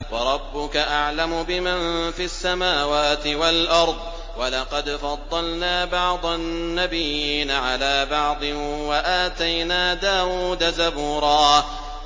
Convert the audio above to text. وَرَبُّكَ أَعْلَمُ بِمَن فِي السَّمَاوَاتِ وَالْأَرْضِ ۗ وَلَقَدْ فَضَّلْنَا بَعْضَ النَّبِيِّينَ عَلَىٰ بَعْضٍ ۖ وَآتَيْنَا دَاوُودَ زَبُورًا